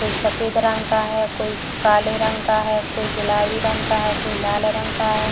कोई सफ़ेद रंग का है कोई काले रंग का है कोई गुलाबी रंग का है कोई लाल रंग का है |